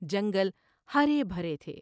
جنگل ہرے بھرے تھے ۔